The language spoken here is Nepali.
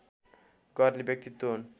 गर्ने व्यक्तित्व हुन्